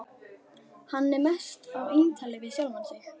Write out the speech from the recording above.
Hann er mest á eintali við sjálfan sig.